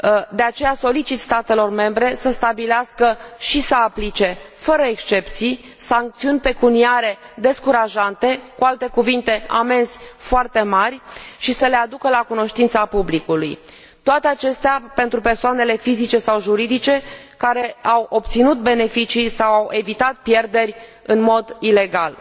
De aceea, solicit statelor membre să stabilească și să aplice, fără excepții, sancțiuni pecuniare descurajante, cu alte cuvinte amenzi foarte mari și să le aducă la cunoștința publicului toate acestea pentru persoanele fizic și juridice care au obținut beneficii sau au evitat pierderi în mod ilegal.